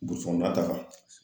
Burusi kɔnɔna ta kan